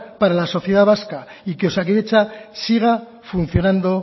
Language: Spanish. para la sociedad vasca y que osakidetza siga funcionando